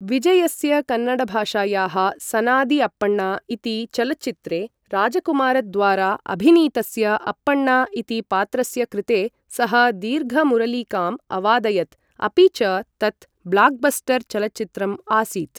विजयस्य कन्नडभाषायाः सनादि अप्पण्ण इति चलच्चित्रे राजकुमारद्वारा अभिनीतस्य अप्पण्ण इति पात्रस्य कृते सः दीर्घमुरलिकाम् अवादयत्, अपि च तत् ब्लाक्बस्टर् चलच्चित्रम् आसीत्।